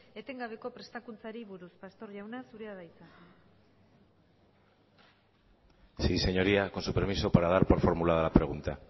etengabeko prestakuntzari buruz pastor jauna zurea da hitza sí señoría con su permiso para dar por formulada la pregunta